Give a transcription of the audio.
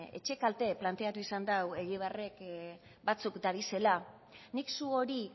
etxe kalte planteatu izan du egibarrek batzuk dabiltzala nik zu hori